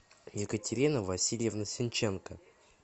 екатерина васильевна синченко